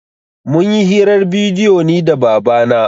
Mun yi hirar bidiyo ni da baba na